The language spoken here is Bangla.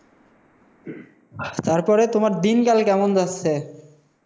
তারপরে? তোমার দিনকাল কেমন যাচ্ছে?